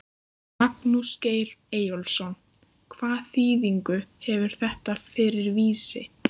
Magnús Geir Eyjólfsson: Hvaða þýðingu hefur þetta fyrir Vísi?